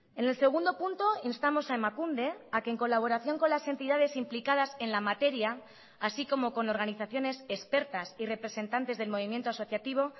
en el segundo punto instamos a emakunde a que en colaboración con las entidades implicadas en la materia así como con organizaciones expertas y representantes del movimiento asociativo